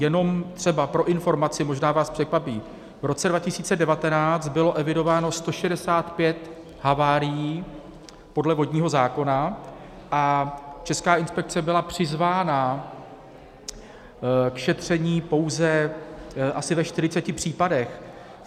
Jenom třeba pro informaci, možná vás překvapí, v roce 2019 bylo evidováno 165 havárií podle vodního zákona a Česká inspekce byla přizvána k šetření pouze asi ve 40 případech.